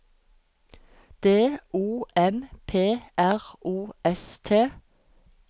D O M P R O S T